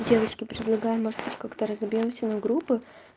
девочки предлагаю может как-то разобьёмся на группы